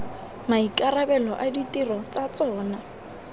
maikarabelo a ditiro tsa tsona